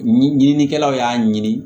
Ɲi ɲininikɛlaw y'a ɲini